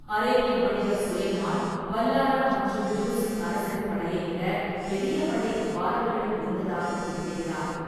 அரேபிய வணிகர் சுலைமான், பால்ஹாரா மற்றும் ஜுர்ஸின் அரசரின் படையைவிடப் பெரிய படை பாலர்களிடம் இருந்ததாகக் குறிப்பிடுகிறார்.